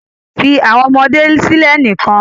Fi awọn ọmọde silẹ nikan